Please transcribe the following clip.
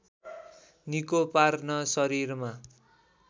निको पार्न शरीरमा